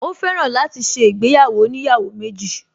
Ó fẹ́ràn láti ṣe ìgbéyàwó oníyàwó méjì